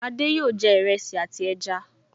Adé yòó jẹ iresi àti ẹja